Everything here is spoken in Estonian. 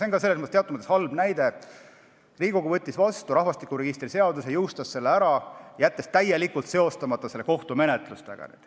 On teatud mõttes halb näide, et Riigikogu võttis vastu rahvastikuregistri seaduse ja jõustas selle, jättes selle täielikult seostamata kohtumenetlustega.